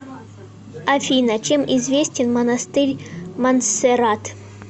афина чем известен монастырь монсеррат